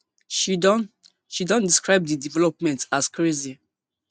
she don she don describe di development as crazy